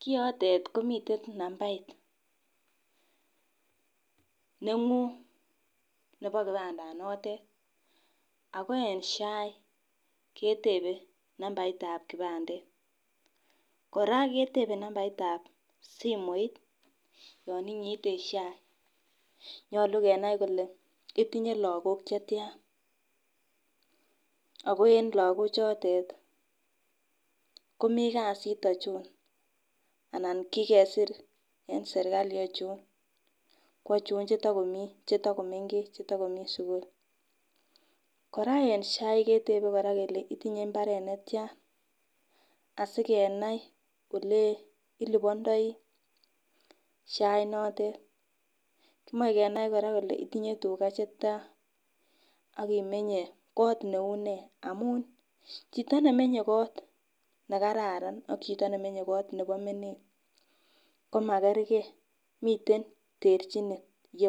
Kiotet komiten naumbait nenguny nebo kipanda notet, ako en SHA ketebe numbaitab kipandet Koraa ketebe numbaitab simoit yon inyite SHA. Nyolu kenai kole itinye lokok chetyan ak en lokok chotet komii kasit ochon anan kikesir en sirkali ochon kwochon chetokomii chetokomengech chetoku komii sukul. Koraa en SHA ketebe Koraa kele itinye inbaret netyan asikenai ole ilipondoi SHA inotet, komoche kenai kora kele itinye tugaa chetyan ak imenye kot neu nee amun chito nemenye kot nekararan ak chito nemenye kot nebo menet komakergee miilten terchinet yeu.